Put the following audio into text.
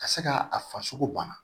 Ka se ka a farisogo bana